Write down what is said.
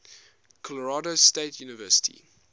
colorado state university